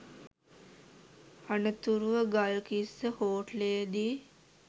අනතුරුව ගල්කිස්ස හෝටලයේදී